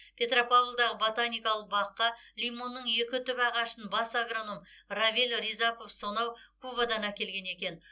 петропавлдағы ботаникалық баққа лимонның екі түп ағашын бас агроном равиль рязапов сонау кубадан әкелген екен